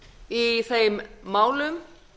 í þeim málum